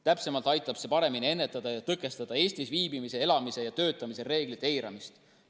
Täpsemalt öeldes aitab see paremini ennetada ja tõkestada Eestis viibimise, elamise ja töötamise reeglite eiramist.